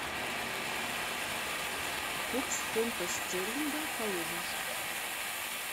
курс фунта стерлинга калуга